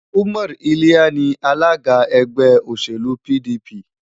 Umar lliya ni alága ẹgbẹ́ òṣèlú PDP.